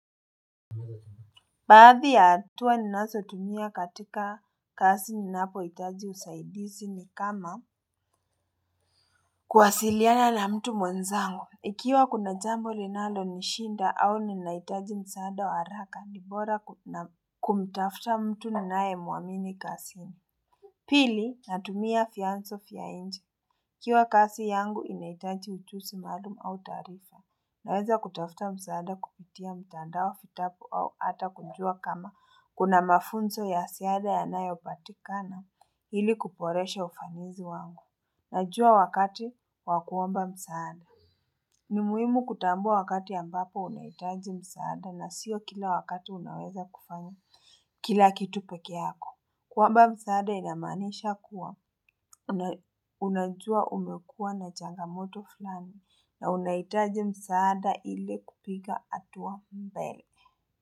Baadhi ya hatua ninazotumia katika kazi ninapohitaji usaidizi ni kama kuwasiliana na mtu mwenzangu. Ikiwa kuna jambo linalonishinda au ninahitaji msaada wa haraka ni bora kumtafuta mtu ninayemuamini kazini. Pili, natumia vyanzo vya nje. Ikiwa kazi yangu inahitaji ujuzi maalum au taarifa. Naweza kutafuta msaada kupitia mtandao, vitapu au hata kujua kama kuna mafunzo ya ziada yanayopatikana ili kuboresha ufanisi wangu. Najua wakati wa kuomba msaada. Ni muhimu kutambua wakati ambapo unahitaji msaada na sio kila wakati unaweza kufanya kila kitu peke yako. Kuomba msaada inamaanisha kuwa unajua umekuwa na changamoto fulani na unahitaji msaada ile kupiga hatua mbele.